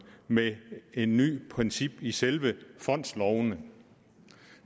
med et nyt princip i selve fondslovene